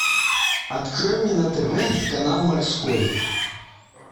открой мне на тв канал морской